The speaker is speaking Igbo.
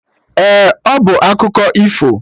Ee, ọ bụ akụkọ ifo